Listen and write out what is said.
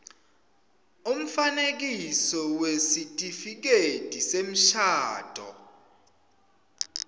umfanekiso wesitifiketi semshado